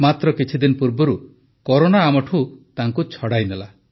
ମାତ୍ର କିଛିଦିନ ପୂର୍ବରୁ କରୋନା ଆମଠୁ ତାଙ୍କୁ ଛଡ଼ାଇନେଲା